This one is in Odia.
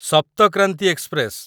ସପ୍ତ କ୍ରାନ୍ତି ଏକ୍ସପ୍ରେସ